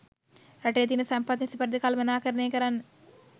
රටේ තියන සම්පත් නිසි පරිදි කළමණාකරණය කරන්න